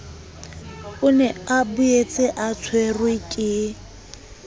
o ne a boetseatshwerwe ke